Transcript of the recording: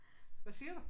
Hvad siger du?